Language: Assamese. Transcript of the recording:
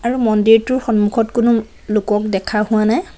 আৰু মন্দিৰটোৰ সম্মুখত কোনো লোকক দেখা হোৱা নাই।